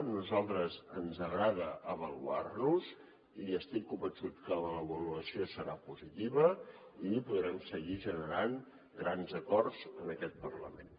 a nosaltres ens agrada avaluar nos i estic convençut que la l’avaluació serà positiva i podrem seguir generant grans acords en aquest parlament